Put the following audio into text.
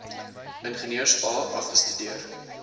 ingenieurs a afgestudeer